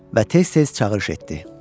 Və tez-tez çağırış etdi.